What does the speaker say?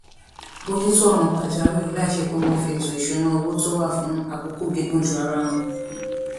bójú tó òràn pàjáwìrì láìsí pé wón fi ètò ìṣúnná owó tó wà fún àkókò gígùn du ara wọn